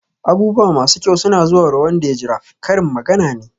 "Abubuwa masu kyau suna zuwarwa wanda ya jira" Karin magana ne.